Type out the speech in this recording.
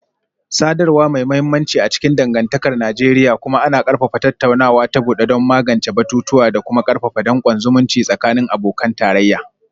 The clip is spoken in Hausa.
Sadarwa mai mahimmanci a cikin dangantakar Najeriya, kuma ana ƙarfafa tattaunawa ta bude don magance batutuwa da kuma karfafa dankon zumunci tsakanin abokan tarayya